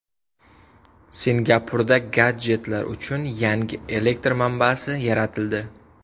Singapurda gadjetlar uchun yangi elektr manbasi yaratildi.